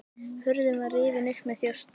Hurðin var rifin upp með þjósti.